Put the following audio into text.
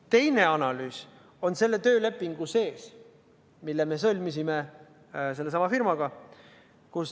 Teine analüüs on selle töölepingu sees, mille me sõlmisime sellesama firmaga.